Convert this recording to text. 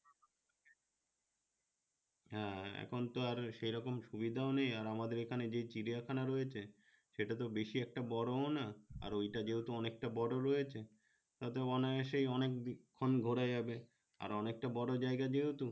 হ্যাঁ এখন তো আর সেরকম সুবিধা ও নেই আমাদের এখানে যে চিড়িয়াখানা রয়েছে সেটা তো বেশি একটা বড় ও না আর ঐ টা যেহেতু অনেক বড় রয়েছে তাতেই অনায়াশে অনেক ক্ষন ঘুরা যাবে অনেক টা বড় জায়গা যেহেতু